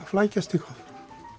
flækjast eitthvað